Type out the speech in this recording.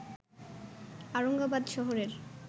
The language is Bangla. আওরঙ্গাবাদ শহরের